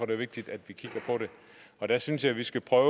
det vigtigt at vi kigger på det og der synes jeg vi skal prøve